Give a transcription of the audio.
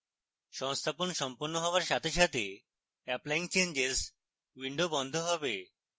সংস্থাপন সম্পন্ন হওয়ার সাথে সাথে applying changes window বন্ধ হবে